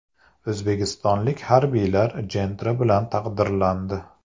O‘zbekistonlik harbiylar Gentra bilan taqdirlandi .